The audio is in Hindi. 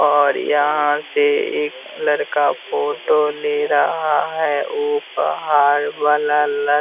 और यहां से एक लड़का फोटो ले रहा है वो पहाड़ वाला ल--